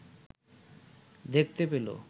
দেখতে পেল